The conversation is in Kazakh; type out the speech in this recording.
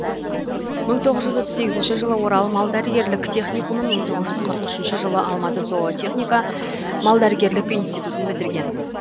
мың тоғыз жүз отыз сегізінші жылы орал мал дәрігерлік техникумын мың тоғыз жүз қырық үшінші жылы алматы зоотехника малдәрігерлік институттын бітірген